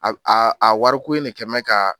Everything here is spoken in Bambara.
A wariko in de kɛmɛ ka.